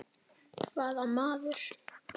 Hvaða maður?